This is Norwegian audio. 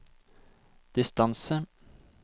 distance